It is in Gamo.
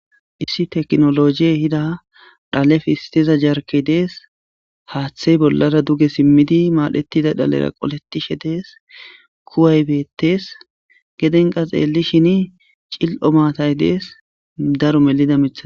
Issi teknolojiyey ahida dhale fhistiza jarkey dees haaththey bollara duge simmidi maadhetida dhalera qoletishe dees kuwaybetees gedenqa xeelishini cil'o maatay dees daro melida mitha.